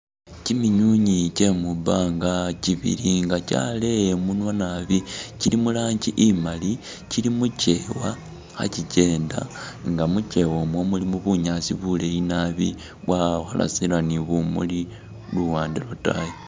Kyiminywinywi kye mubanga kyibili nga kyaleya imunwa naabi kyili mu rangi imali, kyili mukyewa kha kyikyenda nga mukyewa umwo mulimo bunyaasi buleeyi naabi bwakholesera ni bumuli luwande lwatayi.